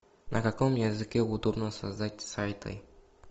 на каком языке удобно создать сайты